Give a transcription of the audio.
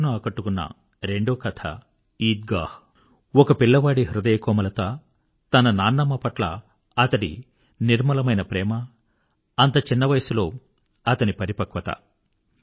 నా మనసును ఆకట్టుకున్న రెండోకథ ఈద్ గాహ్ ఒక పిల్లవాడి హృదయకోమలత తన నాన్నమ్మ పట్ల అతడి నిర్మలమైన ప్రేమ అంత చిన్న వయసులో అతని పరిపక్వత